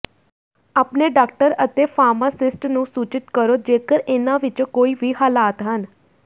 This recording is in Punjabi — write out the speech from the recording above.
ਆਪਣੇ ਡਾਕਟਰ ਅਤੇ ਫਾਰਮਾਸਿਸਟ ਨੂੰ ਸੂਚਿਤ ਕਰੋ ਜੇਕਰ ਇਹਨਾਂ ਵਿੱਚੋਂ ਕੋਈ ਵੀ ਹਾਲਾਤ ਹਨ